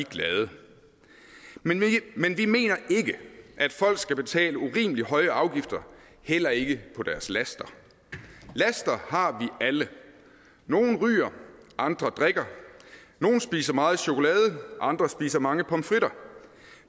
glade men vi mener ikke at folk skal betale urimeligt høje afgifter heller ikke på deres laster laster har vi alle nogle ryger andre drikker nogle spiser meget chokolade andre spiser mange pomfritter